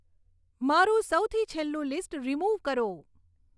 મારું સૌથી છેલ્લું લીસ્ટ રીમુવ કરો